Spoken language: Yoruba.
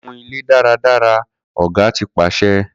Ku ile daradara ọga ti paṣẹ